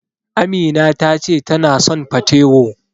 Amina ta ce tana son patewo.